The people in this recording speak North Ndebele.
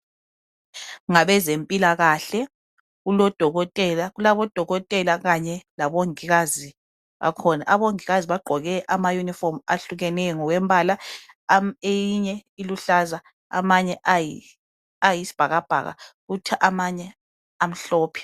Ngabezempilakahle kulabodokotela kanye labongikazi bakhona, abongikazi bakhona bagqoke amayunifomu ahlukeneyo ngokombala eyinye iluhlaza amanye ayisibhakabhaka kuthi amanye amhlophe.